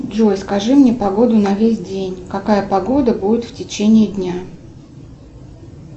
джой скажи мне погоду на весь день какая погода будет в течение дня